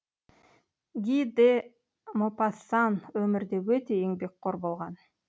ги де мопассан өмірде өте еңбекқор болған